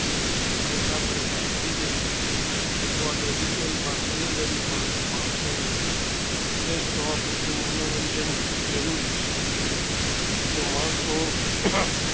થાક્યા પાક્યા સાંજે અથવા તો weekend માં શાની રવિ માં માણસો ને fresh પુરતું મનોરંજન જરૂરી છે જો માણસો